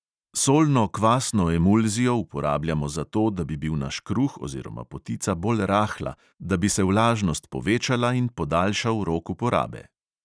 Solno kvasno emulzijo uporabljamo zato, da bi bil naš kruh oziroma potica bolj rahla, da bi se vlažnost povečala in podaljšal rok uporabe.